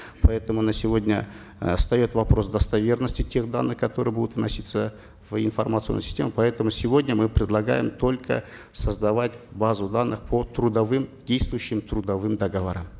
поэтому на сегодня э встает вопрос достоверности тех данных которые будут вноситься в информационную систему поэтому сегодня мы предлагаем только создавать базу данных по трудовым действующим трудовым договорам